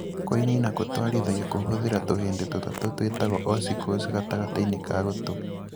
Kũinanina kũtwarithiago kũhũthĩra tũhĩndĩ tũtatũ twĩtagwo ossicles gatagatĩinĩ ka gũtũ.